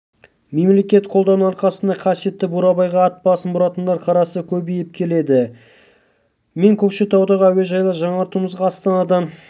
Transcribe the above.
мемлекет қолдауының арқасында қасиетті бурабайға ат басын бұратындар қарасы көбейіп келеді мен көкшетаудағы әуежайды жаңартуымызға астанадан